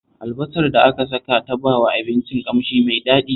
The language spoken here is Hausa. Albasar da aka saka ta bawa abincin ƙamshi mai daɗi